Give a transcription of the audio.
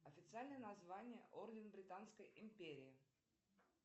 официальное название орден британской империи